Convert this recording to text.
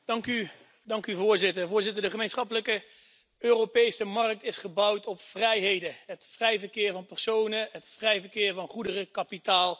Voorzitter, de gemeenschappelijke Europese markt is gebouwd op vrijheden het vrij verkeer van personen, het vrij verkeer van goederen, kapitaal en diensten.